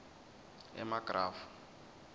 emagrafu